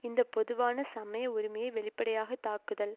இந்த பொதுவான சமய உரிமையை வெளிப்படையாக தாக்குதல்